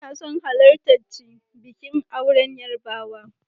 Ina son halartarchi bikin auren Yarbawa.